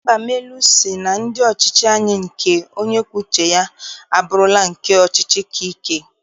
Mbamalu sị na ndị ọchịchị anyị nke onye kwuo uche ya, abụrụla nke ọchịchị aka ike.